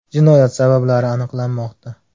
Jinoyat sabablari aniqlanmoqda.